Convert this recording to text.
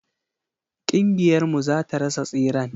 Kingiyar mu zata rasa tseren.